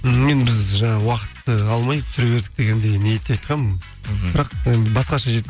мен біз жаңағы уақытты алмай түсіре бердік дегендей ниетте айтқанмын мхм бірақ басқаша